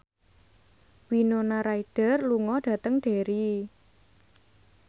Winona Ryder lunga dhateng Derry